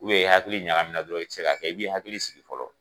i hakili ɲagamina dɔrɔn i tɛ se k'a kɛ i b'i hakili sigi fɔlɔ